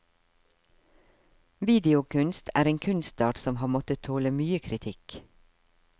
Videokunst er en kunstart som har måttet tåle mye kritikk.